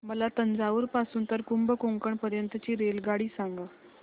मला तंजावुर पासून तर कुंभकोणम पर्यंत ची रेल्वेगाडी सांगा